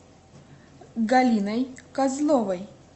галиной козловой